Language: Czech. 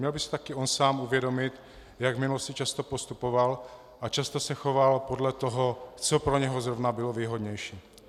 Měl by si také on sám uvědomit, jak v minulosti často postupoval a často se choval podle toho, co pro něho zrovna bylo výhodnější.